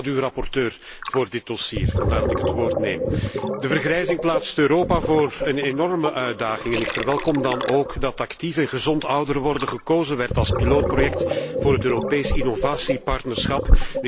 Zij was schaduwrapporteur voor dit dossier en daarom neem ik het woord. De vergrijzing plaatst Europa voor een enorme uitdaging en ik verwelkom dan ook dat actief en gezond ouder worden gekozen werd als proefproject voor het Europees innovatiepartnerschap.